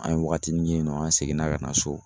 An ye wagatinin kɛ yen nɔ, an seginna ka na so